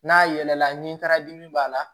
N'a yɛlɛla nin taara dimi b'a la